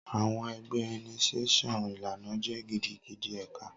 Awọn ẹgbẹ initiation ilana jẹ gidigidi eka